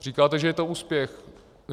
Říkáte, že je to úspěch.